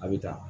A bɛ ta